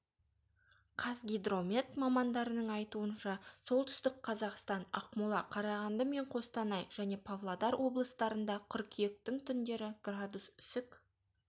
қазгидромет мамандарының айтуынша солтүстік қазақстан ақмола қарағанды мен қостанай және павлодар облыстарында қыркүйектің түндері градус үсік